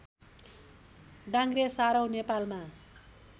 डाङ्ग्रे सारौँ नेपालमा